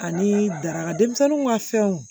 Ani daraka denmisɛnninw ka fɛnw